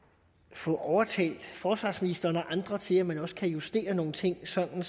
få overtalt forsvarsministeren og andre til at man også kan justere nogle ting sådan